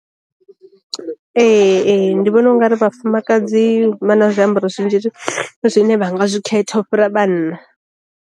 Ee ee ndi vhona u nga ri vhafumakadzi vha na zwiambaro zwinzhi zwine vha nga zwi khetha u fhira vhanna.